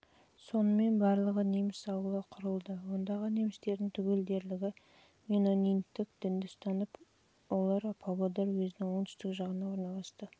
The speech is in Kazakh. сонымен барлығы неміс ауылы құрылды ондағы немістердің түгел дерлігі менониттік дінді ұстанып олар павлодар уезінің оңтүстік жағына орналасты